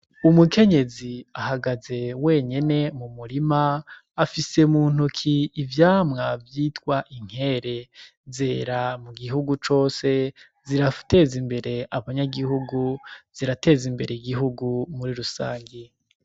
Umukenyezi ahagaze wenyene mu murima afise mu ntuki ivyamwa vyitwa inkere zera mu gihugu cose zirafa teza imbere abanyagihugu zirateze imbere gihugu muri rusange.